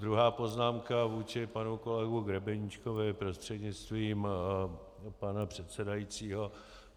Druhá poznámka vůči panu kolegovi Grebeníčkovi prostřednictvím pana předsedajícího.